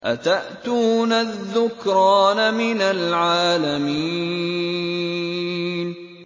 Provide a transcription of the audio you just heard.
أَتَأْتُونَ الذُّكْرَانَ مِنَ الْعَالَمِينَ